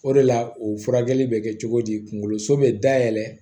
O de la o furakɛli bɛ kɛ cogo di kunkoloso bɛ dayɛlɛ